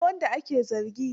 Ina wanda ake zargi?